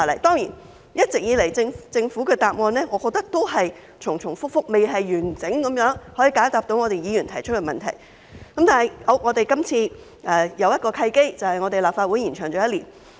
當然，我認為政府一直以來的答案都是重重複複，未能完整解答議員提出的問題，但我們今次有一個契機，便是立法會任期延長了一年。